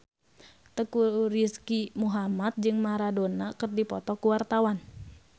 Teuku Rizky Muhammad jeung Maradona keur dipoto ku wartawan